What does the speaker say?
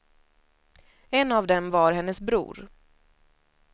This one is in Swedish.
En av dem var hennes bror.